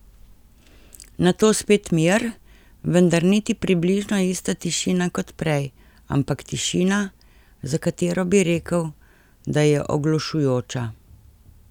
Nato spet mir, vendar niti približno ista tišina kot prej, ampak tišina, za katero bi rekel, da je oglušujoča.